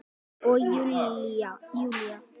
Og Júlía